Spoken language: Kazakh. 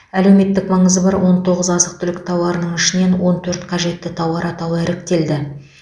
әлеуметтік маңызы бар он тоғыз азық түлік тауарының ішінен он төрт қажетті тауар атауы іріктелді